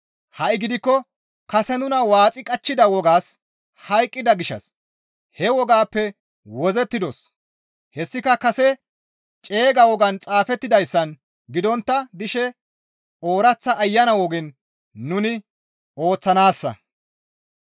Ha7i gidikko kase nuna waaxi qachchida wogaas hayqqida gishshas he wogaappe wozzettidos; hessika kase ceega wogaan xaafettidayssan gidontta dishe ooraththa Ayana ogen nuni ooththanaassa.